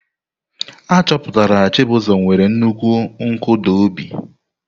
Achọpụtara Chibuzo nwere nnukwu nkụda obi.